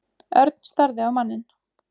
Örn starði á manninn.